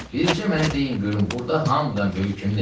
Bircə mənə deyin görüm burda hamıdan böyük kimdir?"